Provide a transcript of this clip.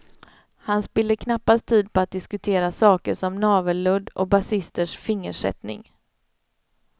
Han spiller knappast tid på att diskutera saker som navelludd och basisters fingersättning.